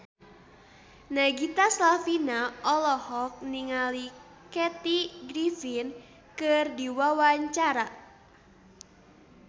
Nagita Slavina olohok ningali Kathy Griffin keur diwawancara